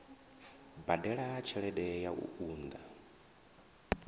badela tshelede ya u unḓa